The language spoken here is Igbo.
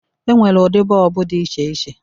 E nwere ụdị bọlbụ dị iche iche